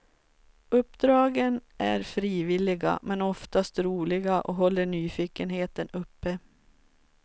Uppdragen är frivilliga men oftast roliga och håller nyfikenheten uppe.